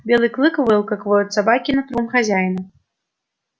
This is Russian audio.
белый клык выл как воют собаки над трупом хозяина